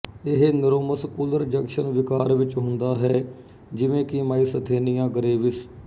ਇਹ neuromuscular junction ਵਿਕਾਰ ਵਿੱਚ ਹੁੰਦਾ ਹੈ ਜਿਵੇਂ ਕਿ ਮਾਈਸਥੇਨੀਆ ਗਰੇਵਿਸ